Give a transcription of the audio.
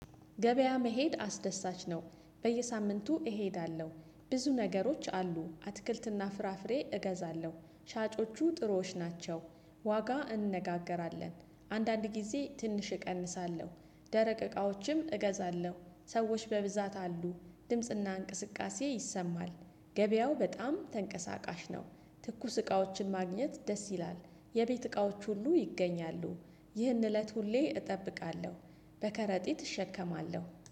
ገበያ መሄድ አስደሳች ነው በየሳምንቱ እሄዳለሁ ብዙ ነገሮች አሉ አትክልትና ፍራፍሬ እገዛለሁ ሻጮቹ ጥሮዎች ናቸው። ዋጋ እንነጋገራለን አንዳንድ ጊዜ ትንሽ እቀንሳለሁ ደረቅ እቃዎችም እገዛለሁ ሰዎች በብዛት አሉ ድምጽና እንቅስቃሴ ይሰማል ገበያው በጣም ተንቀሳቃሽ ነው። ትኩስ እቃዎችን ማግኘት ደስ ይላል የቤት እቃዎች ሁሉ ይገኛሉ። ይህን እለት ሁሌ እጠብቃለሁ በከረጢት እሸከማለሁ